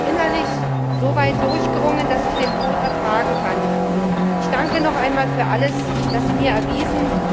Ich habe mich innerlich soweit durchgerungen, dass ich den Tod ertragen kann. Ich danke noch einmal für alles, dass Sie mir erwiesen.